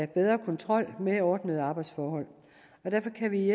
bedre kontrol mere ordnede arbejdsforhold og derfor kan vi